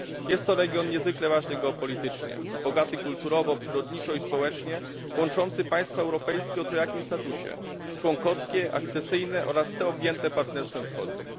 Jest to region niezwykle ważny geopolitycznie, bogaty kulturowo, przyrodniczo i społecznie, łączący państwa europejskie o trojakim statusie członkowskie, akcesyjne oraz te objęte Partnerstwem Wschodnim.